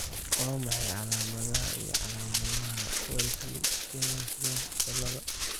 Waa maxay calaamadaha iyo calaamadaha Wellesley Carmen French ciladha?